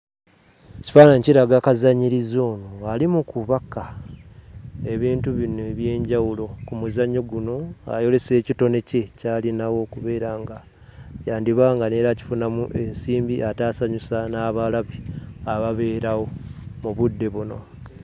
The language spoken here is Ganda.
Ekifaananyi kiraga kazannyirizi ono ali mu kubaka ebintu bino eby'enjawulo ku muzannyo guno, ayolesa ekitone kye ky'alinawo okubeera nga yandiba nga n'era akifunamu ensimbi ate asanyusa n'abalabi ababeerawo mu budde buno.